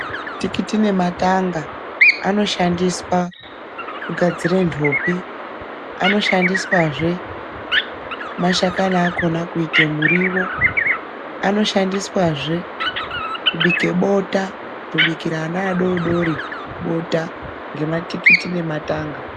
Matikiti nematanga anoshandiswa kugadzira nhopi. Anoshandiswazve mashakani akhona kuite muriwo. Anoshandiswazwe kubike bota, kutobikira ana adodori bota ngematikiti nematanga.